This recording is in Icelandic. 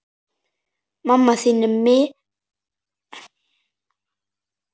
Mamma þín er meðal þeirra.